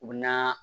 U bɛ na